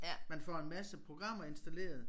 Man får en masse programmer installeret